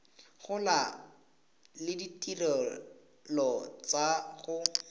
gola le ditirelo tsa go